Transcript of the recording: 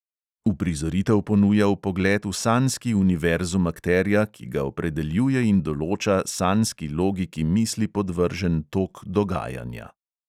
Uprizoritev ponuja vpogled v sanjski univerzum akterja, ki ga opredeljuje in določa sanjski logiki misli podvržen tok dogajanja.